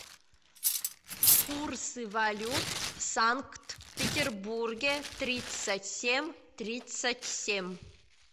курсы валют в санкт петербурге тридцать семь тридцать семь